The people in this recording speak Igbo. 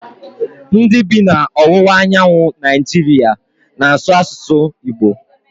Ndị bi na ọwụwa anyanwụ Naịjiria n'asu asụsụ Igbo